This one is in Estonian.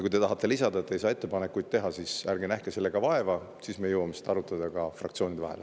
Kui te tahate lisada, et te ei saa ettepanekuid teha, siis ärge nähke vaeva, me jõuame seda arutada ka fraktsioonides.